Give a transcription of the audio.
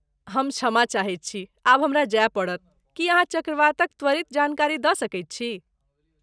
हम क्षमा चाहैत छी, आब हमरा जाय पड़त, की अहाँ चक्रवातक त्वरित जानकारी दऽ सकैत छी?